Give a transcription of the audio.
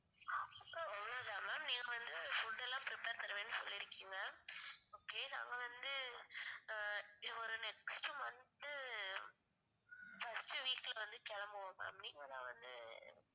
அவ்ளோதான் ma'am நீங்க வந்து food எல்லாம் prepare பண்ணுவேன்னு சொல்லிருகீங்க okay நாங்க வந்து அஹ் ஒரு next month first week ல வந்து கிளம்புவோம் ma'am நீங்க தான் வந்து